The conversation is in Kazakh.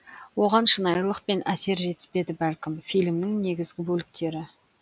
оған шынайылық пен әсер жетіспеді бәлкім фильмнің негізі бөліктері